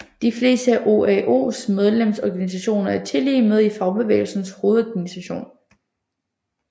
De fleste af OAOs medlemsorganisationer er tillige med i Fagbevægelsens Hovedorganisation